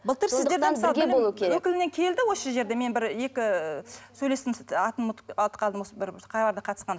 былтыр сіздерде өкілінен келді осы жерде мен бір екі сөйлестім бір қалада қатысқан